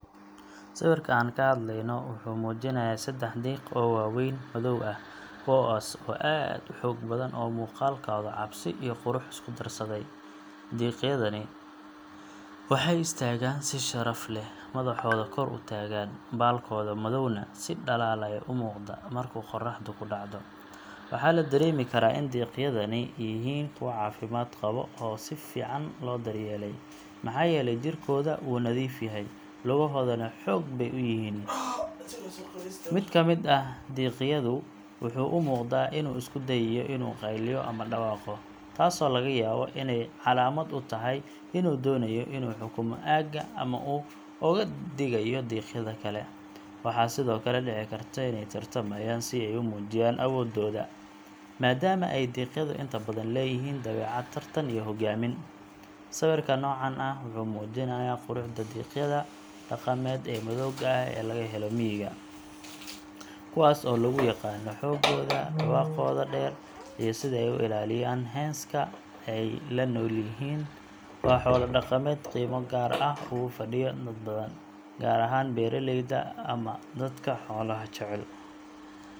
Sawirka aan ka hadlayno wuxuu muujinayaa saddex diiq oo waaweyn, madow ah, kuwaas oo aad u xoog badan oo muuqaalkooda cabsi iyo qurux isku darsaday. Diigyadani waxay istaagaan si sharaf leh, madaxooda kor u taagan, baalalkooda madowna si dhalaalaya u muuqda marka qorraxdu ku dhacdo. Waxaa la dareemi karaa in diigyadani yihiin kuwa caafimaad qaba oo si fiican loo daryeelay, maxaa yeelay jirkooda wuu nadiif yahay, lugahooduna xoog bay u yihiin. Mid ka mid ah diigyadu wuxuu u muuqdaa inuu isku dayayo inuu qayliyo ama dhawaaqo, taasoo laga yaabo inay calaamad u tahay inuu doonayo inuu xukumo aagga ama uu uga digayo diiqyada kale. Waxaa sidoo kale dhici karta inay tartamayaan si ay u muujiyaan awoodooda, maadaama ay diiqyadu inta badan leeyihiin dabeecad tartan iyo hogaamin. Sawirka noocan ah wuxuu muujinayaa quruxda diiqyada dhaqameed ee madowga ah ee laga helo miyiga, kuwaas oo lagu yaqaanno xooggooda, dhawaaqooda dheer, iyo sida ay u ilaaliyaan hens-ka ay la nool yihiin. Waa xoolo dhaqameed qiimo gaar ah ugu fadhiya dad badan, gaar ahaan beeraleyda ama dadka xoolaha jecel.